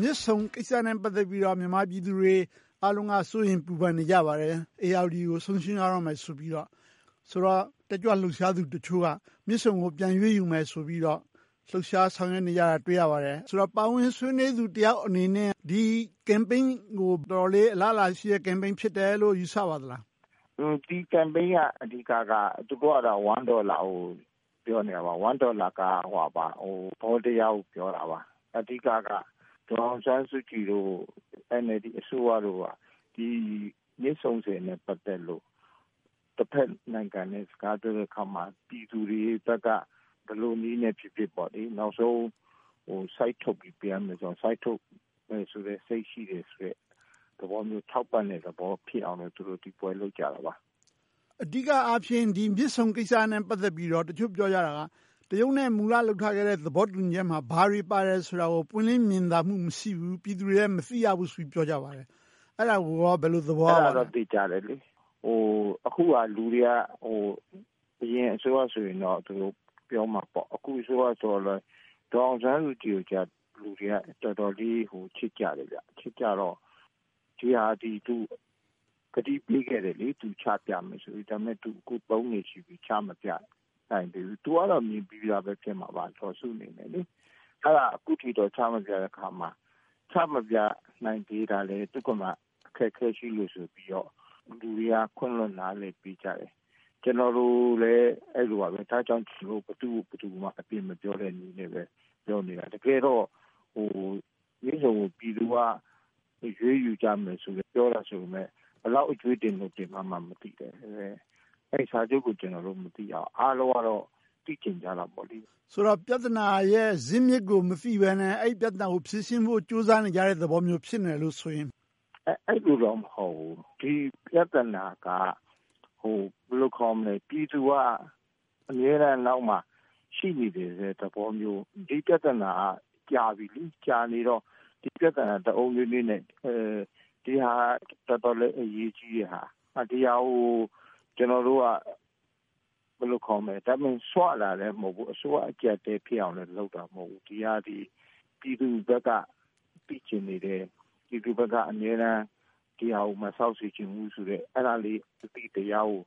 မြစ်ဆုံကိစ္စနဲ့ ပတ်သက်ပြီးတော့ မြန်မာပြည်သူတွေအားလုံးက စိုးရိမ်ပူပန်နေကြပါတယ်။ ဧရာဝတီကို ဆုံးရှုံးကြရတော့မယ် ဆိုပြီးတော့ တက်ကြွလှုပ်ရှားသူတချို့က မြစ်ဆုံကို ပြန်ရွေးယူမယ်ဆိုပြီးတော့ လှုပ်ရှားဆောင်ရွက်နေတာကို တွေ့ရပါတယ်။ ပါဝင်ဆွေးနွေးသူတယောက်အနေနဲ့ ဒီ Campaign ကို တော်တော်လေး အလားအလာရှိတဲ့ လှုပ်ရှားမှု ဖြစ်တယ်လို့ ယူဆပါသလား။ ဒီ Campaign ရဲ့ အဓိကက တစ်ဒေါ်လာလို့ ပြောနေတာပါ။ တစ်ဒေါ်လာက သဘောတရားကို ပြောတာပါ။ အဓိကက ဒေါ်အောင်ဆန်းစုကြည်တို့ကို NLD အစိုးရတို့ကို မြစ်ဆုံဆည်နဲ့ ပတ်သက်လို့ တဘက်နိုင်ငံနဲ့ စကားပြောတဲ့အခါမှာ ပြည်သူတွေဘက်က ဘယ်လိုနည်းနဲ့ဖြစ်ဖြစ် နောက်ဆုံးစိုက်ထုတ်ပြီး ပေးရမယ်ဆိုရင်လဲ စိုက်ထုတ်မယ်စိတ် ရှိတယ်ဆိုတဲ့ သဘောမျိုးဖြစ်အောင် ဒီပွဲကို လုပ်ကြတာပါ။ အဓိကအားဖြင့် မြစ်ဆုံကိစ္စနဲ့ ပတ်သက်ပြီးတော့ တချို့ပြောကြတာက တရုတ်နဲ့ မူလလုပ်ထားခဲ့တဲ့ သဘောတူညီချက်မှာ ဘာတွေပါတယ်ဆိုတာကို ပွင့်လင်းမြင်သာမှု မရှိဘူး။ ပြည်သူတွေက မသိကြရဘူးဆိုတာကို ပြောကြပါတယ်။ အဲဒါကို ဘယ်လိုသဘောရပါလဲ။ အဲဒါက သေချာတယ်။ အခုက လူတွေအနေနဲ့ အရင်အစိုးရဆိုရင်တော့ ဒီလိုပြောမှာပေါ့။ အခုအစိုးရနဲ့ ဒေါ်အောင်ဆန်းစုကြည်ကြတော့ လူတွေက တော်တော်လေး ချစ်ကြတယ်။ ချစ်ကြတော့ ဒီဟာကို သူကတိပေးခဲ့တယ်။ ချပြမယ်ဆိုပြီး… အခု နှစ်ရှိပြီ ချမပြနိုင်သေးဘူး။ သူကတော့ ဖြစ်မှာပါ။ ဒါပေမဲ့ အခုထိ ချမပြသေးတဲ့အခါမှာ ချမပြနိုင်သေးတာ သူမှာလဲ အခက်အခဲရှိလို့ ဆိုပြီးတော့ လူတွေက ခွင့်လွှတ်နားလည်ပေးကြတယ်။ ကျနော်တို့လည်း အဲဒီပါပဲ။ ဒါကြောင့် ဘယ်သူကိုဘယ်သူမှ အပြစ်မပြောတဲ့နည်းနဲ့ပဲ ပြောနေတာ။ တကယ်တော့ မြစ်ဆုံကို ပြည်သူက ရွေးယူကြမယ် ပြောကြပေမယ့် ဘယ်လောက်အကြွေးတင်နေတယ်ဆိုတာ မသိဘူး။ အဲဒီစာချုပ်ကို မသိတော့၊ အားလုံးက သိချင်ကြတယ်။ ဆိုတော့ ပြဿနာရဲ့ ဇစ်မြစ်ကို မသိဘဲနဲ့ အဲဒီပြဿနာကို ဖြေရှင်းဖို့ ကြိုးစားနေကြတဲ့ သဘောမျိုး ဖြစ်နေတယ်ပေါ့။ အဲဒီလိုတော့ မဟုတ်ဘူး။ ဒီပြဿနာက ဘယ်လိုခေါ်မလဲ။ ပြည်သူက အမြဲတမ်းနောက်မှာ ရှိနေတယ်ဆိုတဲ့သဘောမျိုး။ ဒီပြဿနာက ကြာနေပြီလေ။ ကြာနေတော့ တအုံနွေးနွေးနဲ့ တော်တော်လေး အရေးကြီးတဲ့ဟာ။ ဒီဟာကို တမင်စွတာလဲ မဟုတ်ဘူး။ အစိုးရအကျပ်အတည်ဖြစ်အောင်လဲ လုပ်တာမဟုတ်ဘူး။ ဒီဟာသည် ပြည်သူဘက်က သိချင်နေတဲ့။ ပြည်သူဘက်က အမြဲတမ်း ဒီဟာကို မဆောက်စေချင်ဘူးဆိုတဲ့ အဲဒီအသိတရားကို